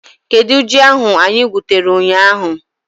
Kedụ ji ahu anyị gwutere ụnyaahụ?